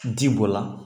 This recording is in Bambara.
Ji bɔ la